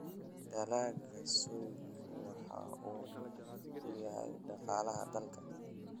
Dalagga soygu waxa uu muhiim u yahay dhaqaalaha dalka.